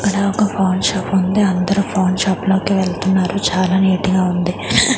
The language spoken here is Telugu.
ఇక్కడ ఒక పాన్ షాప్ ఉంది అందరూ పాన్ షాప్ లోకి వెళ్తున్నారు చాలా నీట్ గా ఉంది.